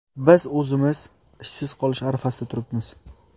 Biz o‘zimiz ishsiz qolish arafasida turibmiz.